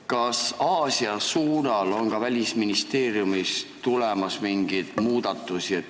Kas Aasia suunal on ka Välisministeeriumist tulemas mingeid muudatusi?